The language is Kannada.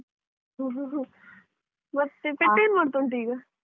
ಮತ್ತೆ pet ಏನ್ ಮಾಡ್ತಾ ಉಂಟು ಈಗ?